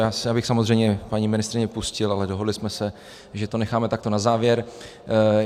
Já bych samozřejmě paní ministryni pustil, ale dohodli jsme se, že to necháme takto na závěr.